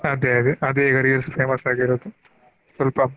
ಅದೇ ಅದೇ ಅದೇ ಈಗಾ reels famous ಆಗಿರೋದು ಸ್ವಲ್ಪ.